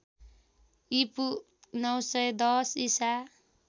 ईपू ९१० ईसा